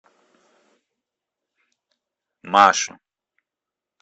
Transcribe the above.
машу